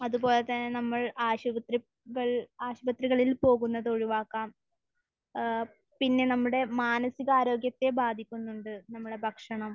അത്പോലെ തന്നെ നമ്മൾ ആശുപത്രികൾ ...ആശുപത്രികളിൽ പോകുന്നത് ഒഴിവാക്കാം. ഏഹ് പിന്നെ നമ്മുടെ മാനസികാരോഗ്യത്തെ ബാധിക്കുന്നുണ്ട് നമ്മുടെ ഭക്ഷണം.